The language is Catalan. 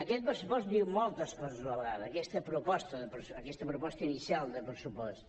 aquest pressupost diu moltes coses a la vegada aquesta proposta inicial de pressupost